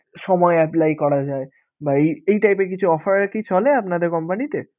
সময় apply করা যায় বা এই type এর কিছু offer কি চলে আপনাদের company তে?